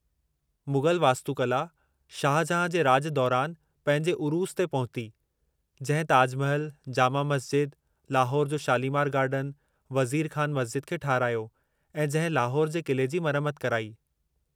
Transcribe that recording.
मुग़ल वास्तुकला शाहजहां जे राॼ दौरानि पंहिंजे उरूज़ ते पहुती, जंहिं ताज महल, जामा मस्जिद, लाहौर जो शालीमार गार्डन, वज़ीर खान मस्जिद खे ठाहिरायो ऐं जंहिं लाहौर जे क़िले जी मरमत कराई।